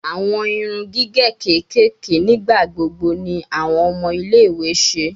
Awọn irun gige kekere nigbagbogbo ni awọn ọmọ ile-iwe ṣe